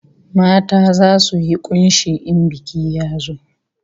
Mata zasu yi kunshi in biki ya zo